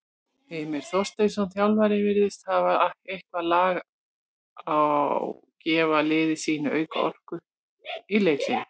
Heimir Þorsteinsson, þjálfari virðist hafa eitthvað lag á gefa liði sínu auka orku í leikhléi.